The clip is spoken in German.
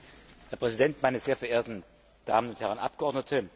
Herr Präsident, meine sehr verehrten Damen und Herren Abgeordneten!